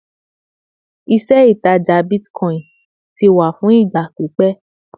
ìṣe ìtajà bitcoin ti wà fún ìgbà pípé